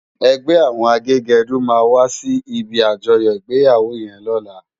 Ègbè áwòn àgégèdú má wàsí ibi ájòyò igbéyáwó yèn lòlá